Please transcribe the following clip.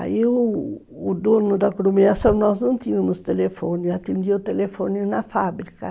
Aí o dono da aglomeração, nós não tínhamos telefone, atendia o telefone na fábrica.